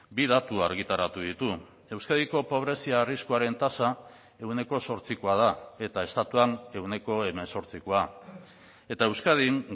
bi datu argitaratu ditu euskadiko pobrezia arriskuaren tasa ehuneko zortzikoa da eta estatuan ehuneko hemezortzikoa eta euskadin